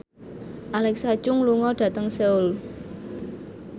Alexa Chung lunga dhateng Seoul